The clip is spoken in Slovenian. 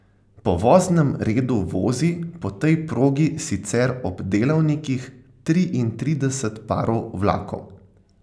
Po voznem redu vozi po tej progi sicer ob delavnikih triintrideset parov vlakov.